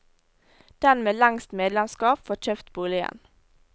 Den med lengst medlemskap får kjøpt boligen.